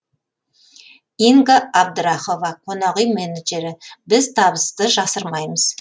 инга абдрахова қонақүй менеджері біз табысты жасырмаймыз